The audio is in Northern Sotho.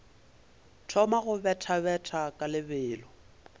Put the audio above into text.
thoma go bethabetha ka lebelo